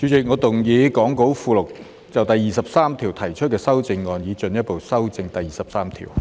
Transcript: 主席，我動議講稿附錄就第23條提出的修正案，以進一步修正第23條。